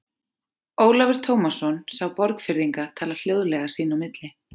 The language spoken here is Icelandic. Ólafur Tómasson sá Borgfirðinga tala hljóðlega sín á milli.